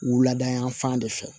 Wuladayanfan de fɛ